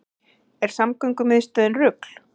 Er samgöngumiðstöðin rugl